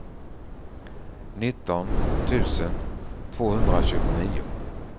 nitton tusen tvåhundratjugonio